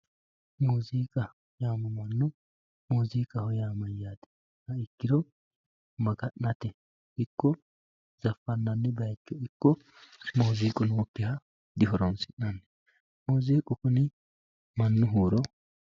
Muuziqa yamamano muziqaho yaa mayate ikiro maganate ikko zafanani bayicho iko muuziqu noyikiha dihoronsinani muuziqqu kuni manu huuro.